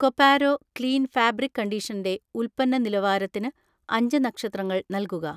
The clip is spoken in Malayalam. കൊപാരോ ക്ലീൻ ഫാബ്രിക് കണ്ടീഷണൻ്റെ ഉൽപ്പന്ന നിലവാരത്തിന് അഞ്ച് നക്ഷത്രങ്ങൾ നൽകുക